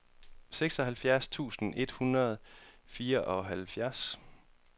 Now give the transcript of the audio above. seksoghalvfjerds tusind et hundrede og fireoghalvfjerds